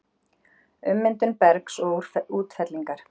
Ummyndun bergs og útfellingar